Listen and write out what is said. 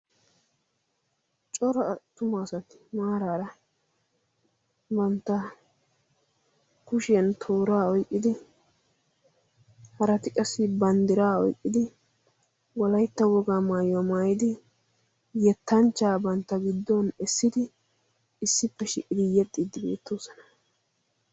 coro tuma asati maaraara bantta kushiyan tooraa oiqqidi harati qassi banddiraa oiqqidi walaitta wogaa maayuwaa maayidi yettanchchaa bantta giddon essidi issippe shi7idi yexxiiddi beettoosona